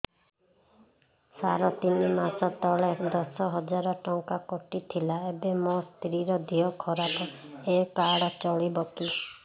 ସାର ତିନି ମାସ ତଳେ ଦଶ ହଜାର ଟଙ୍କା କଟି ଥିଲା ଏବେ ମୋ ସ୍ତ୍ରୀ ର ଦିହ ଖରାପ ଏ କାର୍ଡ ଚଳିବକି